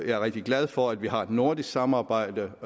er rigtig glad for at vi også har et nordisk samarbejde